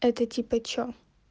это типа что